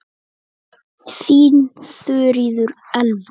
Þín Þuríður Elva.